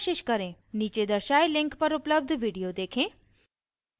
नीचे दर्शाये link पर उपलब्ध video देखें: